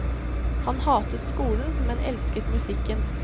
Han hatet skolen, men elsket musikken.